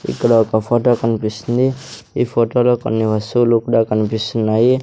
ఇక్కడ ఒక ఫొటో కన్పిస్తుంది ఈ ఫొటో లో కొన్ని వస్తువులు కూడా కన్పిస్తున్నాయి.